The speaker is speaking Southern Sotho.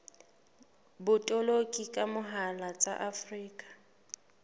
botoloki ka mohala tsa afrika